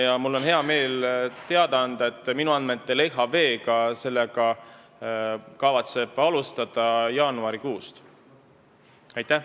Ja mul on hea meel teada anda, et minu andmetel kavatseb LHV sellega jaanuarikuust alustada.